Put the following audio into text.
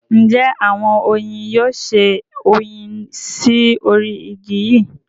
Njẹ awọn oyin yoo ṣe oyin sí orí igi yíì?